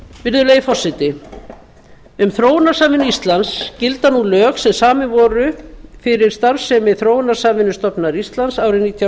virðulegi forseti um þróunarsamvinnu íslands gilda nú lög sem samin voru fyrir starfsemi þróunarsamvinnustofnunar íslands árið nítján